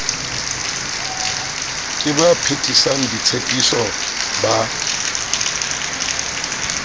ke ba phethisang ditshepiso ba